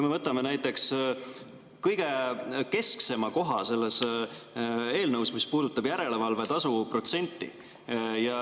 Võtame näiteks kõige kesksema koha selles eelnõus, mis puudutab järelevalvetasu protsenti.